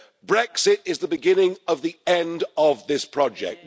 Brexit is the beginning of the end of this project.